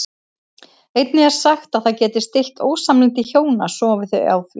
Einnig er sagt að það geti stillt ósamlyndi hjóna sofi þau á því.